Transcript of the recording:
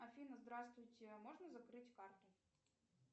афина здравствуйте можно закрыть карту